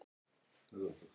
Slíkt hefði hann aldrei gert